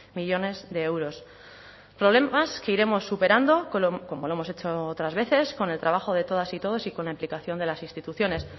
millónes de euros problemas que iremos superando como lo hemos hecho otras veces con el trabajo de todas y todos y con la implicación de las instituciones